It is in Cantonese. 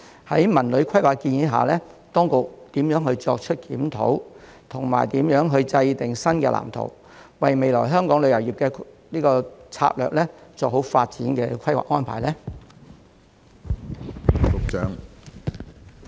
在《文旅規劃》的建議下，當局會如何作出檢討及制訂新的藍圖，為未來香港旅遊業的策略做好發展的規劃安排呢？